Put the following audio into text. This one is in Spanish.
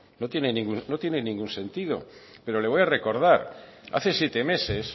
no tiene ningún sentido pero le voy a recordar hace siete meses